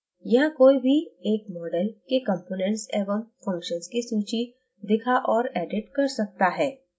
यहां कोई भी एक model के components एवं functions की सूची दिखा और edit कर सकता है